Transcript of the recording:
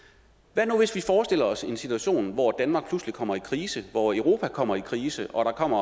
hvad nu hvis vi forestiller os en situation hvor danmark pludselig kommer i krise hvor europa kommer i krise og der kommer